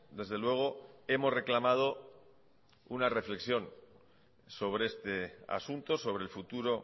desde luego hemos reclamado una reflexión sobre este asunto sobre el futuro